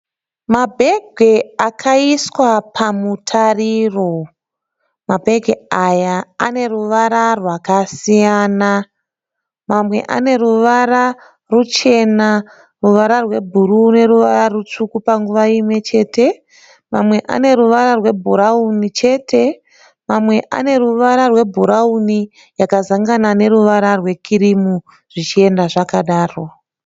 Mabhegi akaiswa pamutariro, mabhegi aya aneruvara rwakasiyana. Mamwe aneruvara ruchena ruvara rwebhuruu neruvara rutsvuku panguva imwechete. Mamwe aneruvara rwebhurauni chete. Mamwe aneruvara rwebhurauni yakazangana neruvara rwekirimu zvichienda zvakadaro.